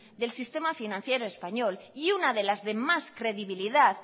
del sistema financiera español y una de las de más credibilidad